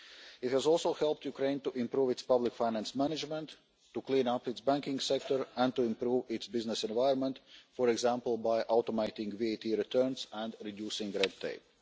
It has also helped Ukraine to improve its public finance management, to clean up its banking sector and to improve its business environment, for example, by automating VAT returns and reducing red tape.